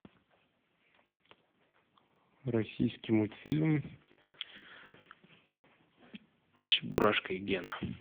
российский мультфильм чебурашка и гена